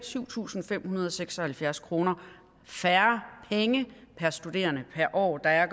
syv tusind fem hundrede og seks og halvfjerds kroner færre per studerende per år at